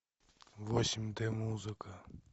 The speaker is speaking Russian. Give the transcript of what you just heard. восемь д музыка